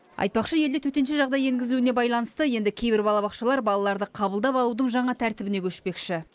айтпақшы елде төтенше жағдай енгізілуіне байланысты енді кейбір балабақшалар балаларды қабылдап алудың жаңа тәртібіне көшпекші